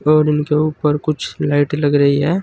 और उनके ऊपर कुछ लाइट लग रही है।